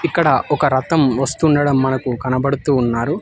ఇక్కడ ఒక రక్తం వస్తుండడం మనకు కనబడుతున్నారు.